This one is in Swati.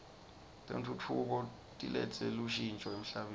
tentfutfuko tiletse lushntjo emhlabeni